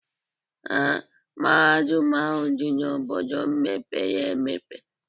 Ee, Mahadum ahu di n'obodo mepere emepe